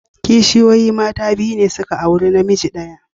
Kishiyoyi mata biyu ne da suka auri namiji daya.